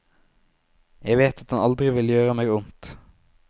Jeg vet at han aldri vil gjøre meg ondt.